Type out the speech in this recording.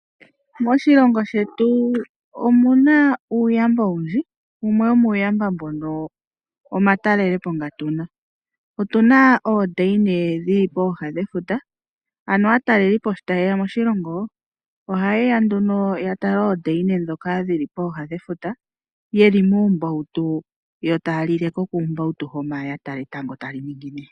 Moshilongo shetu omuna uuyamba owundji wumwe womuyamba mbono omatalelepo nga tuna. Otuna oondayina dhili pooha dhefuta aatalelipo shi tayeya moshilongo ohayeya nduno ya tale oondayina ndhoka dhili pooha dhefuta yeli muumbawutu yo taya lile ko kuumbawutu ho manga ya tala etango tali ningine.